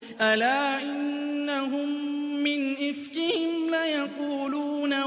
أَلَا إِنَّهُم مِّنْ إِفْكِهِمْ لَيَقُولُونَ